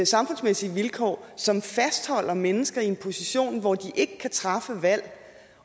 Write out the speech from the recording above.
samfundsmæssige vilkår som fastholder mennesker i en position hvor de ikke kan træffe valg